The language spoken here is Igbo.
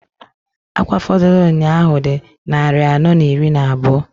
Akwa fọdụlụ nnyaa ahụ dị nnarị anọọ n'iri n'abụọ.